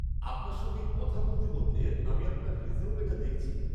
-আপনার সঙ্গে কথা বলতে বলতে আমি আপনার রেজিউমেটা দেখছি।